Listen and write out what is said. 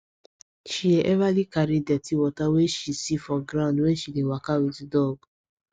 she dey everly carry dirty wey she see for ground when she dey waka with dog